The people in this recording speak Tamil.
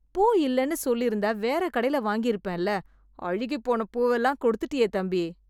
பூ இல்லைன்னு சொல்லிருந்தா வேற கடைல வாங்கிருப்பேன்ல, அழுகிப் போன பூவெல்லாம் கொடுத்துட்டியே தம்பி!